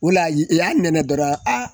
O la i i y'a nɛnɛ dɔrɔn